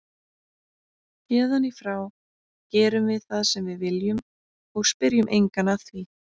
Héðan í frá gerum við það sem við viljum og spyrjum engan að því.